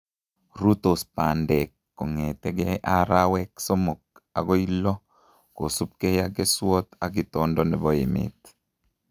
Rurtos bandek kong'ete arawek somok agoi lo kosubkei ak keswot ak itondo nebo emet